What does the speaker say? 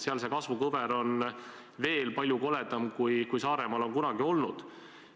Seal on see kasvukõver veel palju koledam, kui Saaremaal on kunagi olnud.